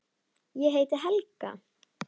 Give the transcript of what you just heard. Ég heiti Helga!